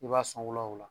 I b'a sɔn wula o la